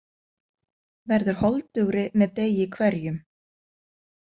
Verður holdugri með degi hverjum.